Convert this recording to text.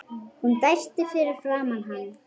Hún dæsti fyrir framan hann.